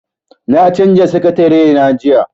Na canza sakatarena jiya.